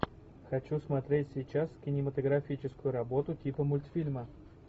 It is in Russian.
хочу смотреть сейчас кинематографическую работу типа мультфильма